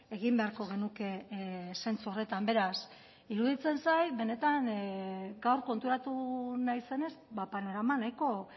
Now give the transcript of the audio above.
egin beharko genuke zentzu horretan beraz iruditzen zait benetan gaur konturatu naizenez panorama nahiko